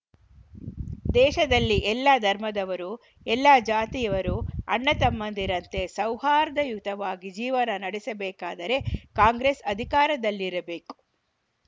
ದೇಶದಲ್ಲಿ ಎಲ್ಲ ಧರ್ಮದವರು ಎಲ್ಲ ಜಾತಿಯವರು ಅಣ್ಣತಮ್ಮಂದಿರಂತೆ ಸೌಹಾರ್ದಯುತವಾಗಿ ಜೀವನ ನಡೆಸಬೇಕಾದರೆ ಕಾಂಗ್ರೆಸ್‌ ಅಧಿಕಾರದಲ್ಲಿರಬೇಕು